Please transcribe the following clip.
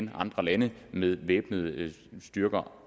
i andre lande med væbnede styrker